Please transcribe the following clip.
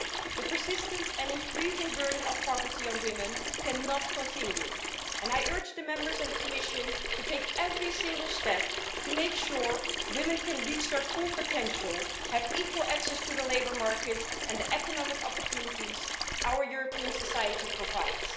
The persistent and increasing burden of poverty on women cannot continue, and I urge Members and the Commission to take every single step to make sure women can reach their full potential and have equal access to the labour market and the economic opportunities our European society provides.